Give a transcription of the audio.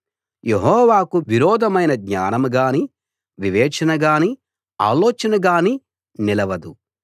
యెహోవాకు విరోధమైన జ్ఞానంగానీ వివేచనగానీ ఆలోచనగానీ నిలవదు